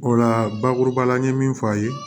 O la bakuruba la n ye min fɔ a ye